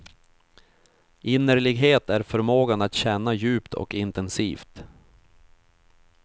Innerlighet är förmågan att känna djupt och intensivt.